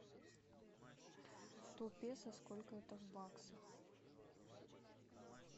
сто песо сколько это в баксах